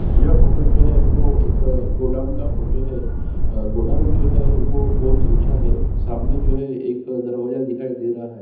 यह फोटो जो है वो एक गोडाउन का है गोडाउन जो है बहुत उंचा है सामने जो है एक दरवाजा दिखाई दे रहा है।